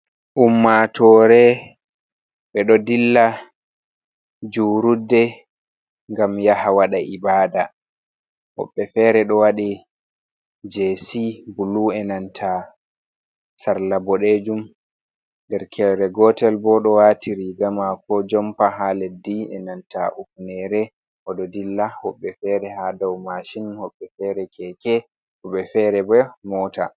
Ummatore be ɗo dilla jurudde gam yaha wada ibada. Hobbe fere do wadi jessi bulu e nanta sarla bodejum. der kere gotel bo do wati riga mako jompa ha leddi,e nanta bufnere o do dilla. Hobbe fere ha dau mashin l,hobbe fere keke, hobe fere bo mota.